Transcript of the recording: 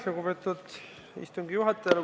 Lugupeetud istungi juhataja!